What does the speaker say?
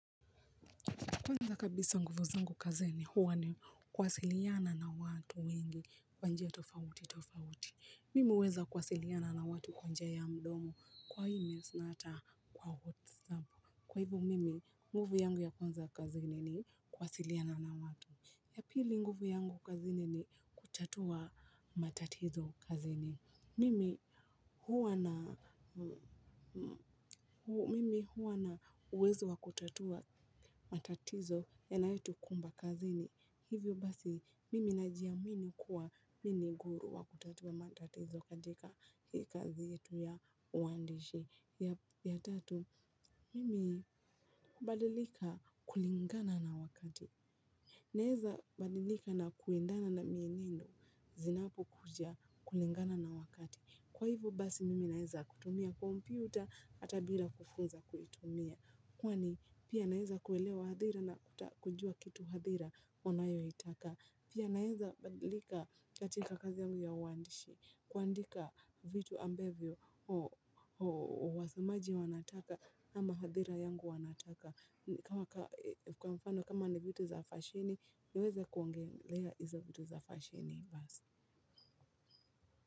Kwanza kabisa nguvu zangu kazini huwa ni kuwasiliana na watu wengi kwa njia tofauti tofauti. Mimi huweza kuwasiliana na watu kwa njia ya mdomo. Kwa hii mesinata kwa hot sample. Kwa hivo mimi, nguvu yangu ya kwanza kazini ni kuwasiliana na watu. Ya pili nguvu yangu kazini ni kutatua matatizo kazini. Mimi, mimi huwa na uwezo wa kutatua matatizo yanayotukumba kazini. Hivyo basi, mimi najiamini kuwa mimi ni guru wa kutatua matatizo katika hii kazi yetu ya uandishi. Ya tatu, mimi hubadilika kulingana na wakati. Naezabadilika na kuendana na mienendo, zinapokuja kulingana na wakati. Kwa hivo basi mimi naeza kutumia kompyuta ata bila kufunza kuitumia. Kwani pia naeza kuelewa hadhira na kujua kitu hadhira wanayoitaka. Pia nawezabadilika katika kazi yangu ya uwandishi. Kuandika vitu ambavyo wasomaji wanataka ama hadhira yangu wanataka. Kwa mfano kama na vitu za fasheni niweze kuongelea hizo vitu za fasheni basi.